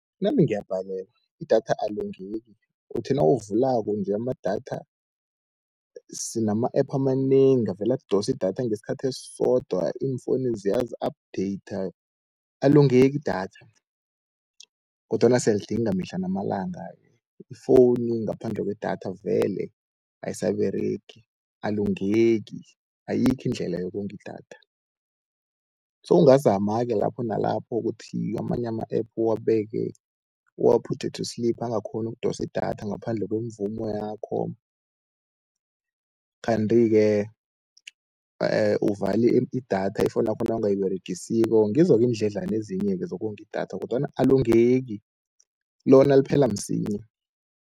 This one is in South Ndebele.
Nami ngiyabhalelwa idatha alongeki, uthi nawuvulako nje amadatha sinama-app amanengi, avele adose idatha ngesikhathi esisodwa iimfowunu ziyazi updater alongeki idatha. Kodwana siyalidinga mihla namalanga, ifowuni ngaphandle kwedatha vele ayisaberegi alongeki ayikho indlela yokonga idatha. Sewungazama-ke lapho nalapho kuthi amanye ama-app, uwaphuthe to sleep angakghoni ukudosa idatha ngaphandle kwemvumo yakho. Kanti-ke uvale idatha ifowunu yakho nawungayiberegisiko, ngizo-ke iindledlana ezinye-ke zokonga idatha kodwana alongeki lona liphela msinya.